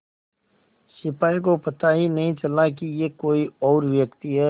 सिपाही को पता ही नहीं चला कि यह कोई और व्यक्ति है